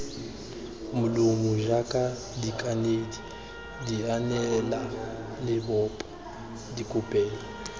molomo jaaka dikanedi dianelalebopo dikopelo